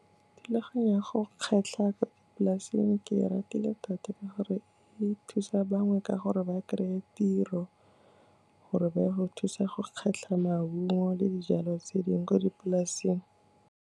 Thulaganyo ya go kgetlha ka dipolasing ke e ratile thata ka gore, e thusa bangwe ka gore ba kry-e tiro gore ba ye go thusa go kgetlha maungo le dijalo tse dingwe ko dipolaseng.